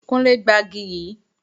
Kúnlé wá gbé Igi yí!